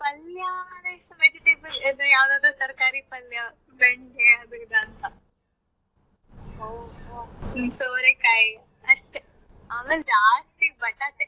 ಪಲ್ಯ ಅಂದ್ರೆ vegetable ಯಾವುದಾದ್ರೂ ತರ್ಕಾರಿ ಪಲ್ಯ ಬೆಂಡೆ ಅದು ಇದು ಅಂತ ಸೋರೆಕಾಯಿ ಅಷ್ಟೇ ಆಮೇಲ್ ಜಾಸ್ತಿ ಬಟಾಟೆ.